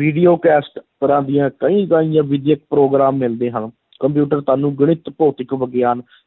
video cassette ਤਰ੍ਹਾਂ ਦੀਆਂ ਕਈ ਪ੍ਰੋਗਰਾਮ ਮਿਲਦੇ ਹਨ ਕੰਪਿਊਟਰ ਤੁਹਾਨੂੰ ਗਣਿਤ, ਭੌਤਿਕ ਵਿਗਿਆਨ,